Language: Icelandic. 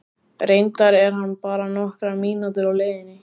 Reyndar er hann bara nokkrar mínútur á leiðinni.